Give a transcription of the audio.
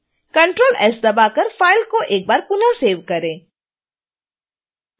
ctrl + s दबाकर file को एक बार पुनः सेव करें